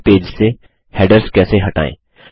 पहले पेज से हैडर्स कैसे हटाएँ